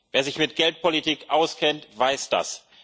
Wer sich mit Geldpolitik auskennt, weiß